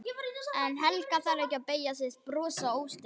En Helga þarf ekki að beygja sig og brosa óstyrk.